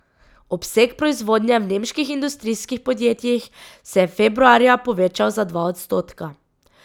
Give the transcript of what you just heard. Obseg proizvodnje v nemških industrijskih podjetjih se je februarja povečal za dva odstotka.